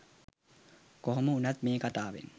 කොහොම වුනත් මේ කතාවෙන්